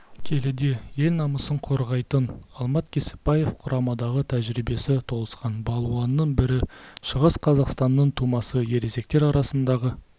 келіде ел намысын қорғайтын алмат кебіспаев құрамадағы тәжірибесі толысқан балуанның бірі шығыс қазақстанның тумасы ересектер арасындағы